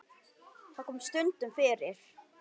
Það kom stundum fyrir.